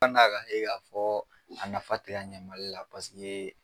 a ka ye k'a fɔ a nafa tɛ ka ɲɛ MALI la ye.